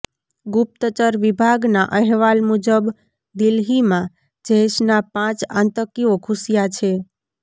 ગુપ્તચર વિભાગના અહેવાલ મુજબ દિલ્લીમાં જૈશના પાંચ આતંકીઓ ઘૂસ્યા છે